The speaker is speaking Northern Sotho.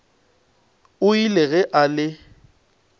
o ile ge a le